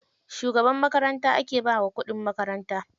Shugaban makaranta ake bawa kuɗin makaranta.